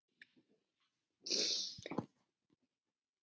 Liðin voru þá nokkuð jöfn.